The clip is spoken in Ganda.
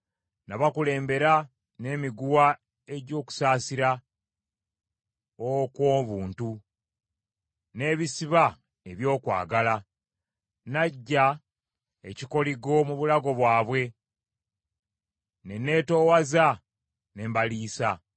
Nabakulembera n’emiguwa egy’okusaasira okw’obuntu, n’ebisiba eby’okwagala. Naggya ekikoligo mu bulago bwabwe ne neetoowaza ne mbaliisa.